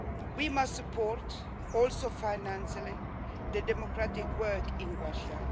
We must support, including financially, the democratic work in Russia.